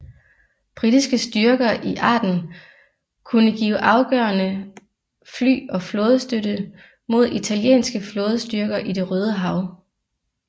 Britiske styrker i Aden kunne give afgørende fly og flådestøtte mod italienske flådestyrker i Det røde Hav